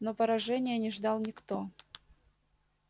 но поражения не ждал никто